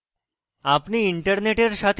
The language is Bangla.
আপনি internet সাথে যুক্ত থাকলে